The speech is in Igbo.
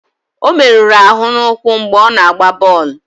Ọ meruru ahụ n'ụkwụ mgbe ọ na-agba bọọlụ.